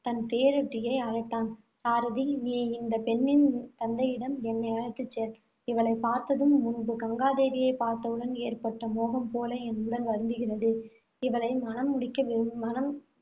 தன் தேரோட்டியை அழைத்தான். சாரதி நீ இந்தப் பெண்ணின் தந்தையிடம் என்னை அழைத்துச் செல். இவளைப் பார்த்ததும், முன்பு கங்காதேவியைப் பார்த்தவுடன் ஏற்பட்ட மோகம் போல என் உடல் வருந்துகிறது. இவளை மணம் முடிக்க மனம்